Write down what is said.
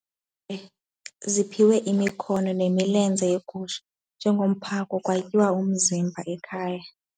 Ziphiwe imikhono nemilenze yegusha njengomphako kwatyiwa umzimba ekhaya.